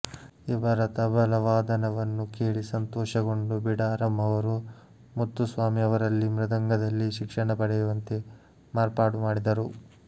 ಇವರ ತಬಲಾವಾದನವನ್ನು ಕೇಳಿ ಸಂತೋಷಗೊಂಡು ಬಿಡಾರಂ ಅವರು ಮುತ್ತುಸ್ವಾಮಿ ಅವರಲ್ಲಿ ಮೃದಂಗದಲ್ಲಿ ಶಿಕ್ಷಣ ಪಡೆಯುವಂತೆ ಏರ್ಪಾಡುಮಾಡಿದರು